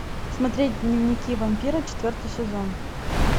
смотреть дневники вампира четвертый сезон